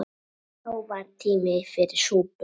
Þó var tími fyrir súpu.